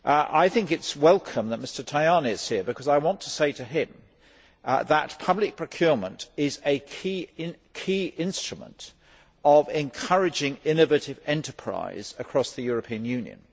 I think it is welcome that Mr Tajani is here because I want to say to him that public procurement is a key instrument for encouraging innovative enterprise across the European Union.